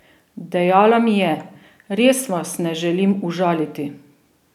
Dejala mi je: 'Res vas ne želim užaliti'.